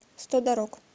сто дорог